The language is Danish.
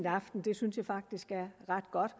aftenen det synes jeg faktisk er ret godt